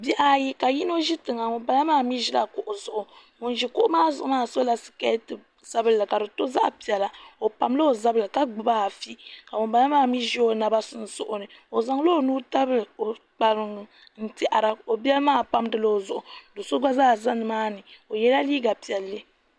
Bihi ayi ka ŋuni bala zi tiŋa ŋuni bala maa mi zila kuɣu zuɣu ŋuni zi kuɣu maa zuɣu maa sola sikɛti sabili ka di to zaɣi piɛla o pam la o zabiri ka gbubi afi ka ŋuni bala maa mi zi o naba sunsuuni naba sunsuuni o zaŋla o nuu tabili o kpaeiŋn tɛhira ka o bɛli maa o zaŋla o nuu n tabili okpariŋn tɛhira o bɛli maa pamidila o zuɣu ka so so gba zaa za ni maa ni o yiɛla liiga piɛli.